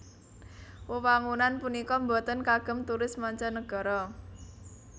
Wewangunan punika boten kagem turis mancanagara